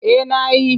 Eh na yi.